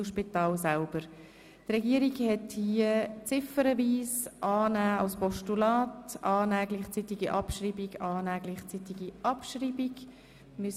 Die Regierung hat hier ziffernweise Annahme als Postulat, Annahme mit gleichzeitiger Abschreibung und Annahme mit gleichzeitiger Abschreibung beantragt.